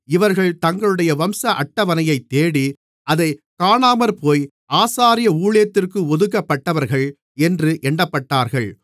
இவர்கள் தங்களுடைய வம்ச அட்டவணையைத் தேடி அதைக் காணாமற்போய் ஆசாரிய ஊழியத்திற்கு ஒதுக்கப்பட்டவர்கள் என்று எண்ணப்பட்டார்கள்